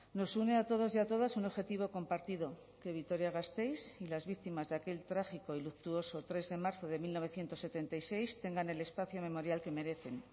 nos une a todos y a todas un objetivo compartido que vitoria gasteiz y las víctimas de aquel trágico y luctuoso tres de marzo de mil novecientos setenta y seis tengan el espacio memorial que merecen